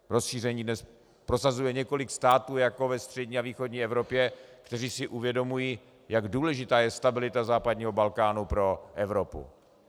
Rozšíření dnes prosazuje několik států jako ve střední a východní Evropě, které si uvědomují, jak důležitá je stabilita západního Balkánu pro Evropu.